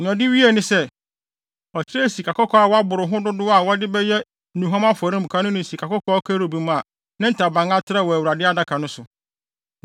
Nea ɔde wiee ne sɛ, ɔkyerɛɛ sikakɔkɔɔ a wɔabere ho dodow a wɔde bɛyɛ nnuhuam afɔremuka no ne sikakɔkɔɔ kerubim a ne ntaban atrɛw wɔ Awurade Adaka no so.